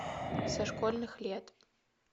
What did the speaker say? со школьных лет